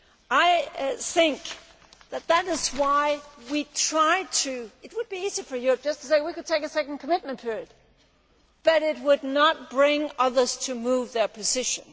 I think that is why we tried to it would be easy for Europe just to say we could take a second commitment period but it would not bring others to move their position.